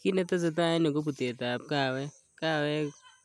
Kit ne tesetai en yu ko butetab kawek. Kawek